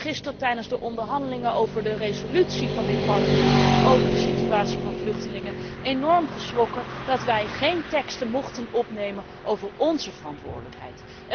Ik ben gisteren tijdens de onderhandelingen over de resolutie van dit parlement over de situatie van vluchtelingen enorm geschrokken dat wij geen teksten mochten opnemen over onze verantwoordelijkheid.